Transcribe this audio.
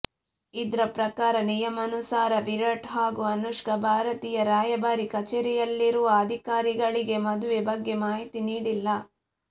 ಇದ್ರ ಪ್ರಕಾರ ನಿಯಮಾನುಸಾರ ವಿರಾಟ್ ಹಾಗೂ ಅನುಷ್ಕಾ ಭಾರತೀಯ ರಾಯಭಾರಿ ಕಚೇರಿಯಲ್ಲಿರುವ ಅಧಿಕಾರಿಗಳಿಗೆ ಮದುವೆ ಬಗ್ಗೆ ಮಾಹಿತಿ ನೀಡಿಲ್ಲ